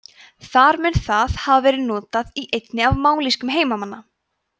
þar mun það hafa verið notað í einni af mállýskum heimamanna